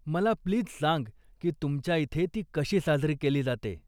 मला प्लीज सांग की तुमच्या इथे ती कशी साजरी केली जाते?